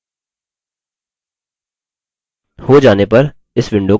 हो जाने पर इस window को बंद कर दें